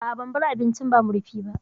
A'a ban bar abincin ba murfi ba